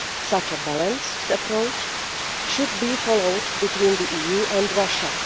Such a balanced approach should be followed between the EU and Russia.